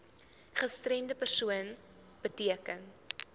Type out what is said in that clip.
gestremde persoon beteken